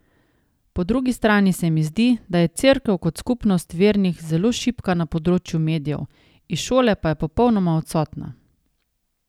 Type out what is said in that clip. Po drugi strani se mi zdi, da je Cerkev kot skupnost vernih zelo šibka na področju medijev, iz šole pa je popolnoma odsotna.